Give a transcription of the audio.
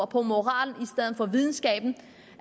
på moral i stedet for videnskab